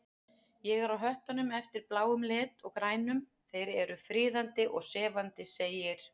Ég er á höttunum eftir bláum lit og grænum, þeir eru friðandi og sefandi segir